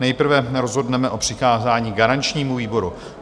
Nejprve rozhodneme o přikázání garančnímu výboru.